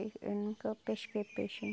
Eu nunca pesquei peixe